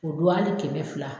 O don hali kɛmɛ fila